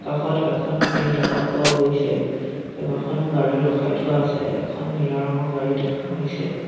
কাষত এখন ফিল্ড দেখা পোৱাও গৈছে কেইবাখনো গাড়ী ৰখাই থোৱা আছে এখন নীলা ৰঙৰ গাড়ী দেখা গৈছে।